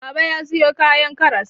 Baba ya sayo kayan karas.